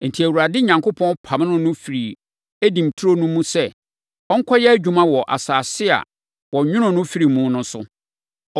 Enti, Awurade Onyankopɔn pamoo no firii Eden turo no mu sɛ ɔnkɔyɛ adwuma wɔ asase a, wɔnwonoo no firii mu no so.